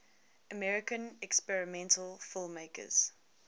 american experimental filmmakers